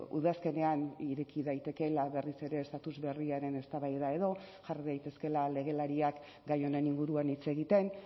udazkenean ireki daitekeela berriz ere estatus berriaren eztabaida edo jar daitezkeela legelariak gai honen inguruan hitz egiten